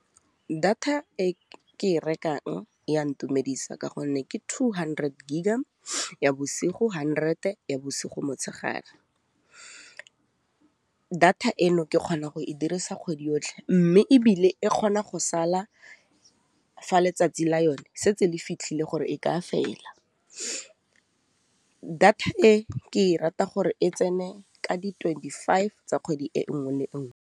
Data e ke e rekang ya ntumedisa ka gonne ke two hundred gig-a bosigo, hundred ya bosigo motshegare, data eno ke kgona go e dirisa kgwedi yotlhe mme ebile e kgona go sala fa letsatsi la yone se tse le fitlhile gore e ka fela. Data e ke e rata gore e tsene ka di twenty five tsa kgwedi e nngwe le nngwe.